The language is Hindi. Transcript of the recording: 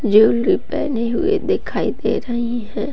ज्वेलरी पहनी हुई दिखाई दे रही है।